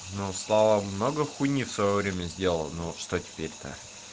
ну слава много хуйни в своё время сделал ну что теперь то